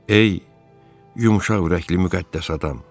Ey, yumşaqürəkli müqəddəs adam!